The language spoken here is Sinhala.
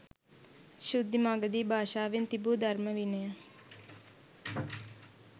ශුද්ධ මාගධී භාෂාවෙන් තිබූ ධර්ම විනය